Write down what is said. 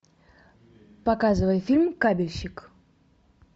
показывай фильм кабельщик